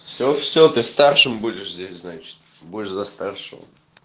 всё всё ты старшим будешь здесь значит будешь за старшего